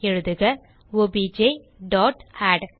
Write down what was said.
எழுதுக obj dot add